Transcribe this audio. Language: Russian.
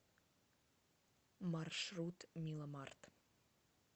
маршрут миломарт